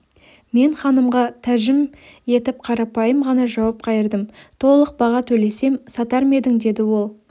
мен ханымға тәжім етіп қарапайым ғана жауап қайырдым толық баға төлесем сатар ма едің деді ол